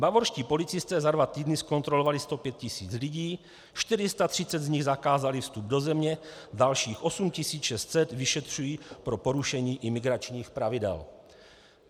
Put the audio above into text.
Bavorští policisté za dva týdny zkontrolovali 105 000 lidí, 430 z nich zakázali vstup do země, dalších 8 600 vyšetřují pro porušení imigračních pravidel.